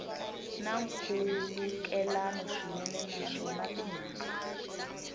na nkhulukelano swinene naswona timhaka